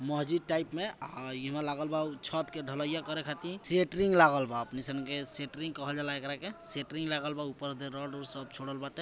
मस्जिद टाइप में अ इ में लागल बा उ छत के ढलैया करे खातिर | सेटरिंग लागल बा अपने सन के सेटरिंग कहल जा एकरा के सेटरिंग लागल बा ऊपर से रड उद सब छोरल बाटे |